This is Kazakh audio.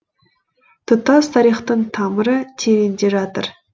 тұтас тарихтың тамыры тереңде жатыр